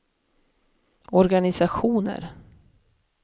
organisationer